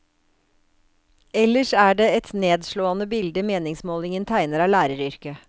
Ellers er det er et nedslående bilde meningsmålingen tegner av læreryrket.